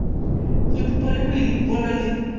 go phutha go leipola le